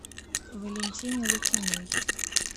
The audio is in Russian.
валентине лукиной